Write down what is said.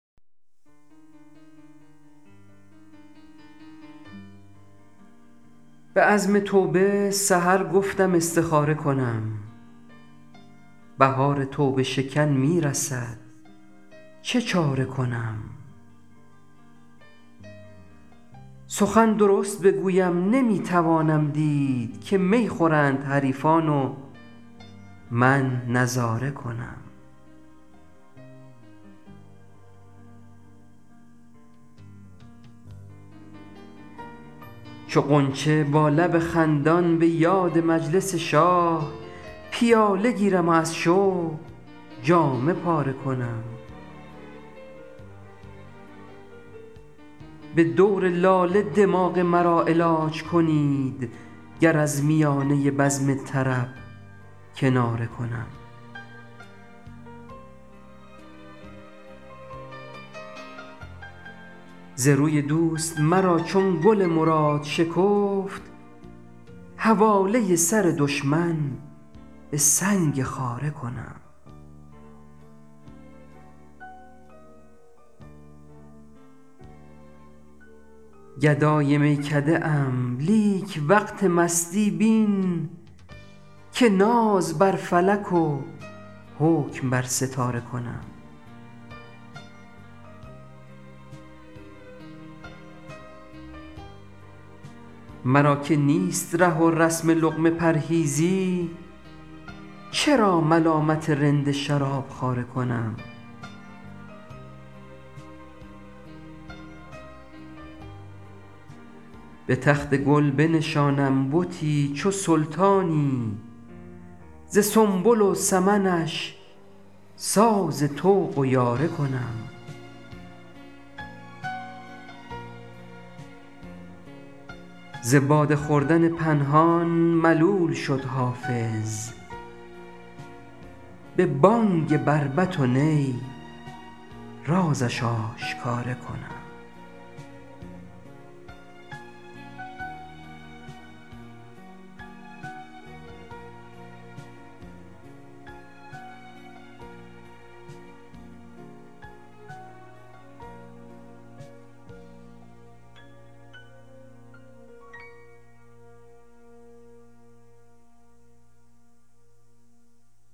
به عزم توبه سحر گفتم استخاره کنم بهار توبه شکن می رسد چه چاره کنم سخن درست بگویم نمی توانم دید که می خورند حریفان و من نظاره کنم چو غنچه با لب خندان به یاد مجلس شاه پیاله گیرم و از شوق جامه پاره کنم به دور لاله دماغ مرا علاج کنید گر از میانه بزم طرب کناره کنم ز روی دوست مرا چون گل مراد شکفت حواله سر دشمن به سنگ خاره کنم گدای میکده ام لیک وقت مستی بین که ناز بر فلک و حکم بر ستاره کنم مرا که نیست ره و رسم لقمه پرهیزی چرا ملامت رند شراب خواره کنم به تخت گل بنشانم بتی چو سلطانی ز سنبل و سمنش ساز طوق و یاره کنم ز باده خوردن پنهان ملول شد حافظ به بانگ بربط و نی رازش آشکاره کنم